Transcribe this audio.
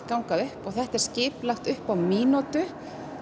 ganga upp þetta er skipulagt upp á mínútu